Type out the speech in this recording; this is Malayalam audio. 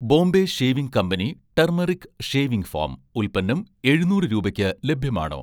Bombay shaving company turmeric shaving foam' ഉൽപ്പന്നം എഴുന്നൂറ് രൂപയ്ക്ക് ലഭ്യമാണോ